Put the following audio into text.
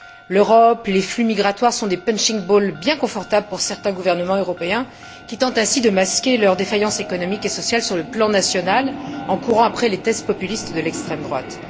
L'Europe, les flux migratoires sont des punching balls bien confortables pour certains gouvernements européens qui tentent ainsi de masquer leurs défaillances économiques et sociales sur le plan national en courant après les thèses populistes de l'extrême droite.